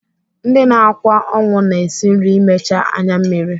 Ndị na-akwa ọnwụ na-esi nri imecha anyammiri.